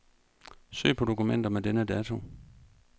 Søg på dokumenter med denne dato.